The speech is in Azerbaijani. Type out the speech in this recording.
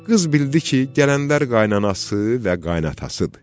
Qız bildi ki, gələnlər qaynanəəsi və qaynatasıdır.